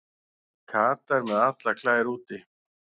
Katar með allar klær úti